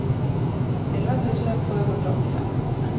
elva tusen sjuhundraåttiofem